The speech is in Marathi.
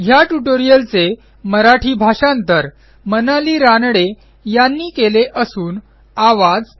ह्या ट्युटोरियलचे मराठी भाषांतर मनाली रानडे यांनी केलेले असून आवाज